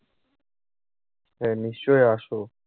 হ্যাঁ। নিশ্চয়ই আসো।